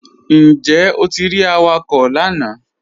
Njẹ́ o ti rí àwàkọ̀ lànà?